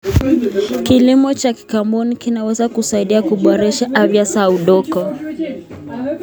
Kilimo cha kikaboni kinaweza kusaidia kuboresha afya ya udongo.